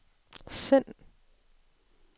send